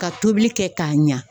Ka tobili kɛ ka ɲa.